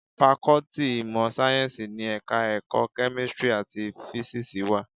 Fakọ́tì ìmọ̀ sáyẹ́ńsì ni Ẹ̀ka-ẹ̀kọ́ Kẹ́mísírì àti Físíìsì wà.